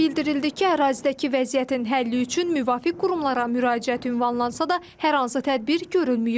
O da bildirildi ki, ərazidəki vəziyyətin həlli üçün müvafiq qurumlara müraciət ünvanlansa da, hər hansı tədbir görülməyib.